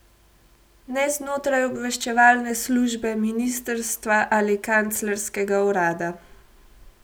Ne znotraj obveščevalne službe, ministrstva ali kanclerskega urada.